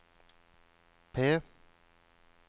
P